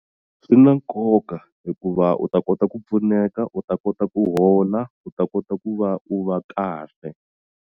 Swi na nkoka hikuva u ta kota ku pfuneka u ta kota ku hola u ta kota ku va u va kahle.